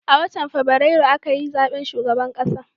A watan fabrairu a ka yi zaben shugaban ƙasa